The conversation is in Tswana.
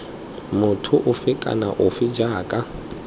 motho ofe kana ofe jaaka